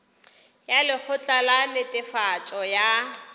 ya lekgotla la netefatšo ya